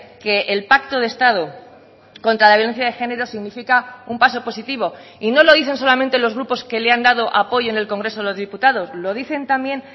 que el pacto de estado contra la violencia de género significa un paso positivo y no lo dice solamente los grupos que le han dado apoyo en el congreso de los diputados lo dicen también